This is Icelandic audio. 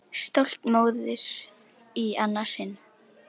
Stolt móðir í annað sinn.